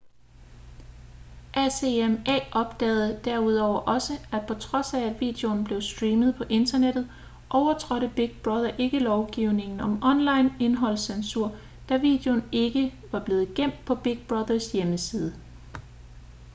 acma opdagede derudover også at på trods af at videoen blev streamet på internettet overtrådte big brother ikke lovgivningen om online indholdscensur da videoen ikke var blevet gemt på big brother"s hjemmeside